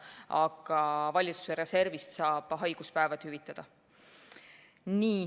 Aga valitsuse reservist saab haiguspäevi hüvitada.